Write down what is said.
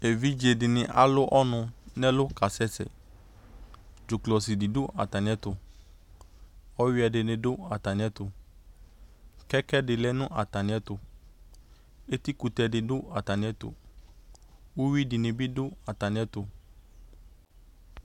Evidze de ne alu lnu nɛlu kasɛsɛ Dzoklɔsi de do atame ɛto Ɔwiɛ de ne do atane ɛto Kɛkɛ de lɛ no atane ɛto, Etikutɛ de do atane ɛto, Uwi denbe do atane ɛto